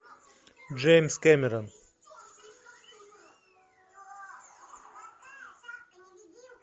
джеймс кэмерон